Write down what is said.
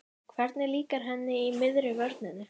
Hvernig líkar henni í miðri vörninni?